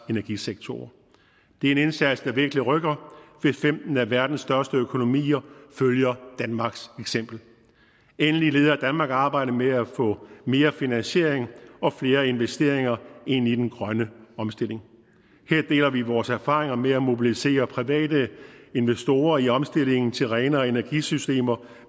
energisektorer det er en indsats der virkelig rykker hvis femten af verdens største økonomier følger danmarks eksempel endelig leder danmark arbejdet med at få mere finansiering og flere investeringer ind i den grønne omstilling her deler vi vores erfaringer med at mobilisere private investorer i omstillingen til renere energisystemer